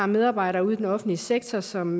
medarbejdere i den offentlige sektor som